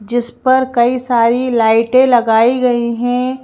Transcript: जिस पर कई सारी लाइटें लगाई गई हैं।